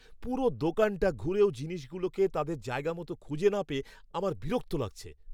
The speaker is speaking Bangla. পুরো দোকানটা ঘুরেও জিনিসগুলোকে তাদের জায়গা মতো খুঁজে না পেয়ে আমার বিরক্ত লাগছে।